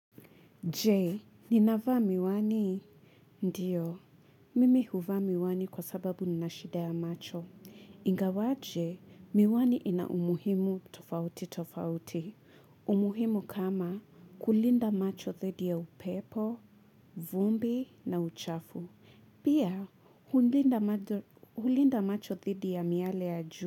Jee, ninavaa miwani? Ndiyo, mimi huvaa miwani kwa sababu ninashida ya macho. Ingawaje, miwani ina umuhimu tofauti tofauti. Umuhimu kama kulinda macho thidi ya upepo, vumbi na uchafu. Pia, hulinda macho thidi ya miale ya ju.